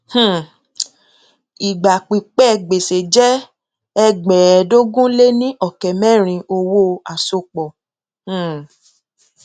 um ìgbà pípẹ gbèsè jẹ ẹgbẹẹẹdógún lé ní ọkẹ mẹrin owó àsopọ um